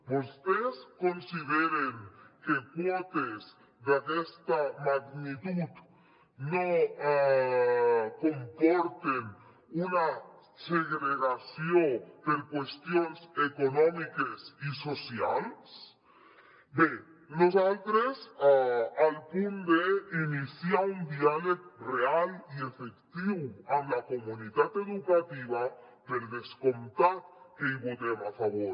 vostès consideren que quotes d’aquesta magnitud no comporten una segregació per qüestions econòmiques i socials bé nosaltres al punt d’iniciar un diàleg real i efectiu amb la comunitat educativa per descomptat que hi votem a favor